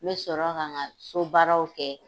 N mi sɔrɔ ka, n ka so baaraw kɛ